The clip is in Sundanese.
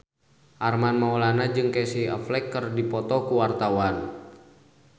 Armand Maulana jeung Casey Affleck keur dipoto ku wartawan